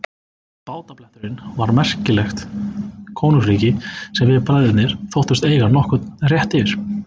Bátabletturinn var merkilegt konungsríki sem við bræðurnir þóttumst eiga nokkurn rétt yfir.